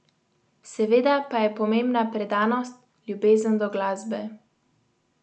Seveda pa je pomembna predanost, ljubezen do glasbe.